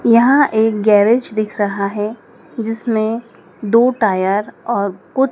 यहां एक गेराज दिख रहा है जिसमें दो टायर और कु--